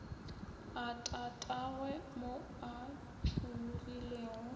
a tatagwe mo a tšhologilego